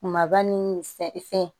Kumaba ni sɛ fɛn